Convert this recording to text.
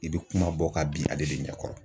I bɛ kuma bɔ ka bin ale de ɲɛkɔrɔ.